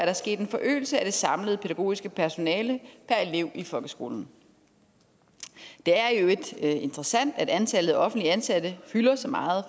er sket en forøgelse af det samlede pædagogiske personale per elev i folkeskolen det er i øvrigt interessant at antallet af offentligt ansatte fylder så meget